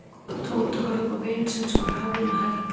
Tóti horfði upp á vin sinn sem var höfðinu hærri en hann.